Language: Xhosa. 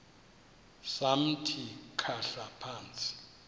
samthi khahla phantsi